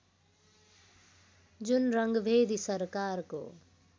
जुन रङ्गभेदी सरकारको